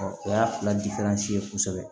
o y'a fila ye kosɛbɛ